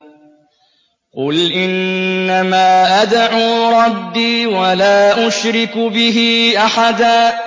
قُلْ إِنَّمَا أَدْعُو رَبِّي وَلَا أُشْرِكُ بِهِ أَحَدًا